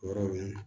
O yɔrɔ ninnu